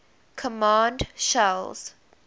command shells